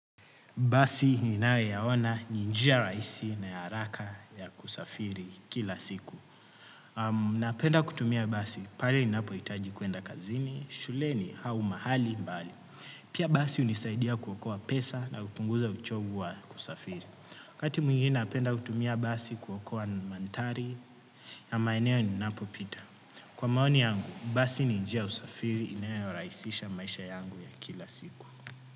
Basi ninayoyaona, ni njia rahisi na ya haraka ya kusafiri kila siku. Napenda kutumia basi pale ninapohitaji kwenda kazini, shuleni au mahali mbali. Pia basi hunisaidia kuokoa pesa na kupunguza uchovu wa kusafiri. Wakati mwingine napenda kutumia basi kuokoa mandhari ya maeneo ninapopita. Kwa maoni yangu, basi ni njia ya usafiri inayorahisisha maisha yangu ya kila siku.